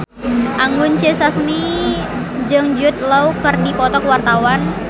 Anggun C. Sasmi jeung Jude Law keur dipoto ku wartawan